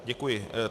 Děkuji.